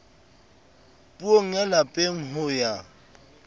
puong ya lapeng ho ya